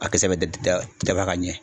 A kisɛ bɛ da dafa ka ɲɛ.